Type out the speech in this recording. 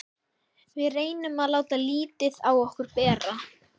Við reynum að láta lítið á okkur bera.